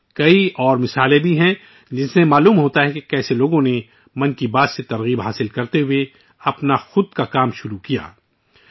اس کے علاوہ ، اور بھی بہت سی مثالیں ہیں، جن سے ظاہر ہوتا ہے کہ لوگ کس طرح 'من کی بات' سے متاثر ہوئے اور اپنا کاروبار شروع کیا